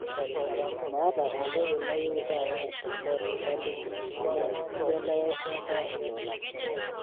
maata entoki nayieu taata tele duka linyi amu inchelewesha apa lolan